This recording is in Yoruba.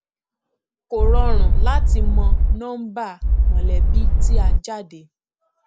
kò rọrùn láti mọ nọmbà mọlẹbí tí a jáde